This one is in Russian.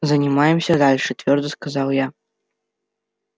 занимаемся дальше твёрдо сказала я